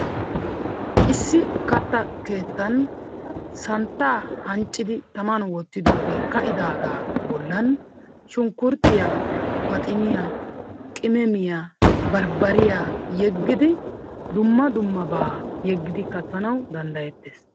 Issi katta keettan santtaa anccidi tamman wottidoogee ka'idaaagaa bollan shunkuruutiya maxxiniya qimmemiya barbbariya yeggidi dumma dummabaa yeggidi kattanawu danddayetees.